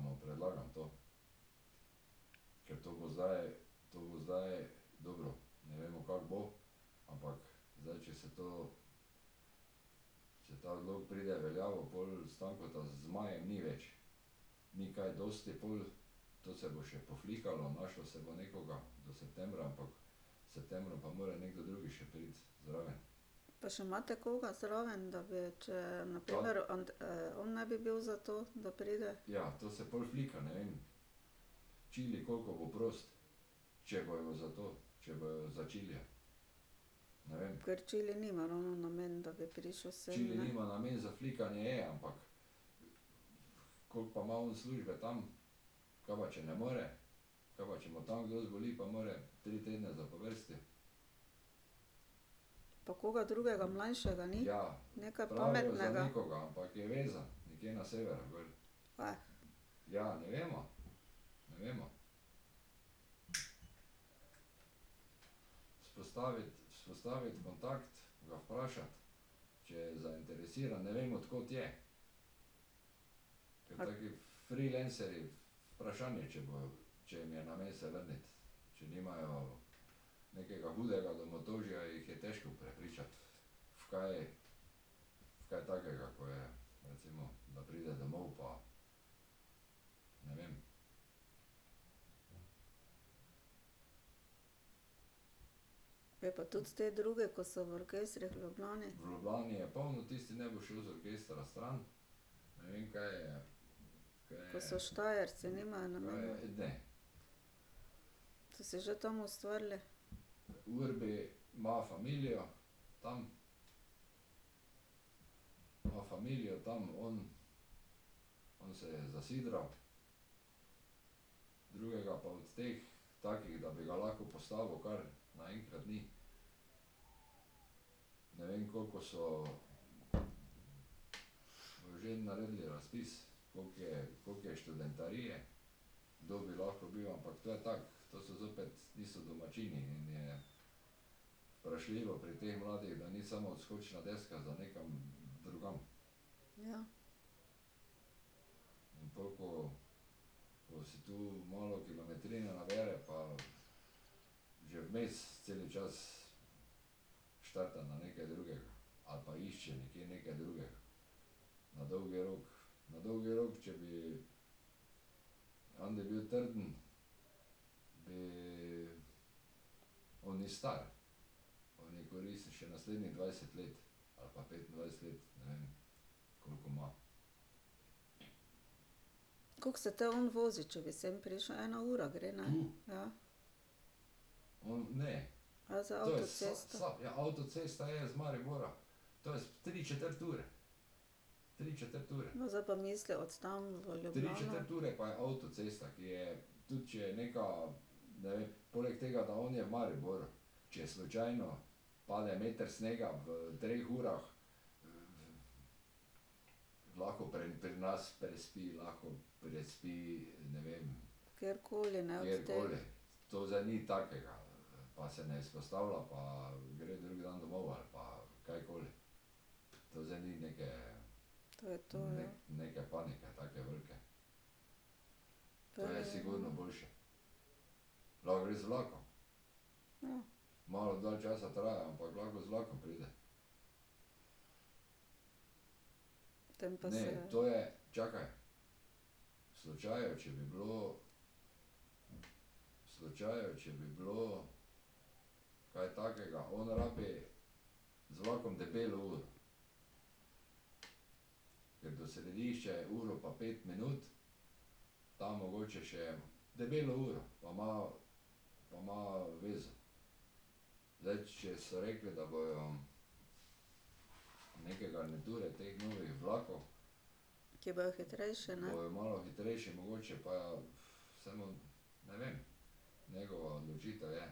tragedija, ja. Pa še imate koga zraven, da bi, če na primer on ne bi bil za to, da pride? Ker Čili nima ravno namen, da bi prišel sem, ne? Pa koga drugega mlajšega ni? Nekaj pametnega. Ja pa tudi te druge, ko so v orkestrih v Ljubljani? Ko so Štajerci, nimajo namena ... So si že tam ustvarili? Ja. Koliko se te on vozi, če bi sem prišel? Ena ura gre, ne? Ja. Ja, za avtocesto. No, zdaj pa misli od tam v Ljubljano. Kjerkoli, ne, od teh. To je to, ja. Ja. Tem pa se ... Ki bojo hitrejši, ne?